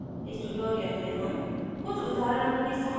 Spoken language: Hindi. इस tutorial में हम